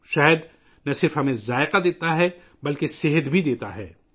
شہد نہ صرف ہمیں ذائقہ دیتا ہے بلکہ صحت بھی دیتا ہے